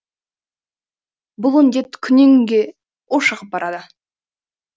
бұл індет күннен күнге ушығып барады